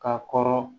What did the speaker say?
Ka kɔrɔ